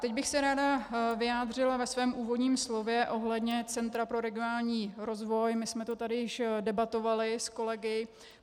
Teď bych se ráda vyjádřila ve svém úvodním slově ohledně Centra pro regionální rozvoj - my jsme to tady již debatovali s kolegy.